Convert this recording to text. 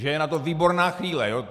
Že je na to výborná chvíle.